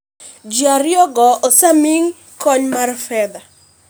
Ji ariyo go osemi kony mar fedha